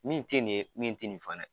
Min tɛ nin ye min tɛ nin fana ye.